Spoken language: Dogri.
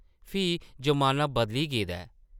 फ्ही ज़माना बदली गेदा ऐ ।